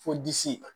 Fo disi